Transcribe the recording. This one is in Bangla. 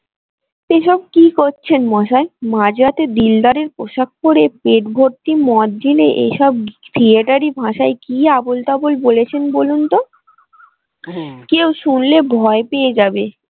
এসব কি করছেন মশাই মাঝরাতে দিলদারের পোষাক পরে পেট ভর্তি মদ গিলে এসব theatre ই ভাষায় কি আবোলতাবোল বলেছেন বলুন তো কেউ শুনলে ভয় পেয়ে যাবে।